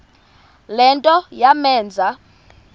le nto yamenza